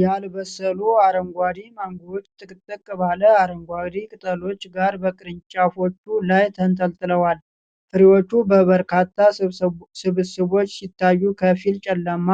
ያልበሰሉ አረንጓዴ ማንጎዎች ጥቅጥቅ ባለ አረንጓዴ ቅጠሎች ጋር በቅርንጫፎቹ ላይ ተንጠልጥለዋል። ፍሬዎቹ በበርካታ ስብስቦች ሲታዩ ከፊል ጨለማ